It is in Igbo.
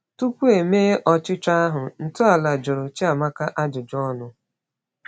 Tupu e mee ọchịchọ ahụ, ntọala jụrụ Chiamaka ajụjụ ọnụ.